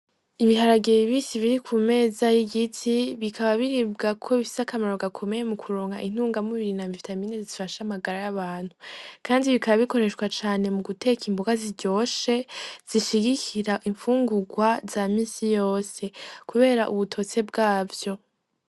Ibiharage bibisi biri ku meza y'igiti, bikaba biribwa kuko bifise akamaro gakomeye mu kuronka intungamubiri na vitamini zifasha amagara y'abantu. Kandi bikaba bikoreshwa cane mu guteka imboga ziryoshe, zishigikira imfungurwa za minsi yos; kubera ubutose bwavyo.